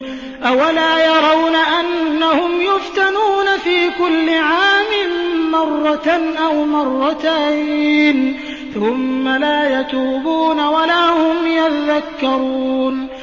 أَوَلَا يَرَوْنَ أَنَّهُمْ يُفْتَنُونَ فِي كُلِّ عَامٍ مَّرَّةً أَوْ مَرَّتَيْنِ ثُمَّ لَا يَتُوبُونَ وَلَا هُمْ يَذَّكَّرُونَ